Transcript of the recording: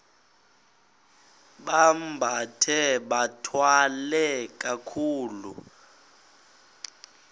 bambathe bathwale kakuhle